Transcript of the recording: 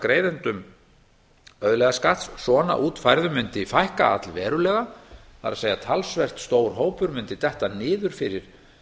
greiðendum auðlegðarskatts svona útfærðum mundi fækka allverulega það er talsvert stór hópur mundi detta niður fyrir